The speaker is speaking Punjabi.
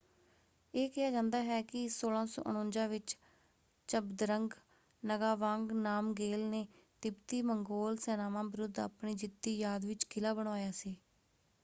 ਇਹ ਕਿਹਾ ਜਾਂਦਾ ਹੈ ਕਿ 1649 ਵਿੱਚ ਝਬਦਰੰਗ ਨਗਾਵਾਂਗ ਨਾਮਗੇਲ ਨੇ ਤਿੱਬਤੀ-ਮੰਗੋਲ ਸੈਨਾਵਾਂ ਵਿਰੁੱਧ ਆਪਣੀ ਜਿੱਤ ਦੀ ਯਾਦ ਵਿੱਚ ਕਿਲਾ ਬਣਵਾਇਆ ਸੀ।